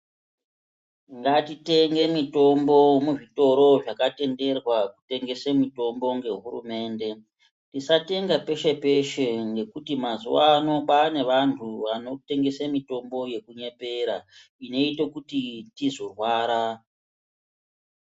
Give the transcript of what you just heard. Ngatitenge mutombo muzvitoro zvakatenderwa pakutengesa mutombo ngehurumende .Tisatenga peshe peshe ngekuti mazuva ano kwane vantu vanotengesa mutombo yekunyepera inoita kuti tizorwara .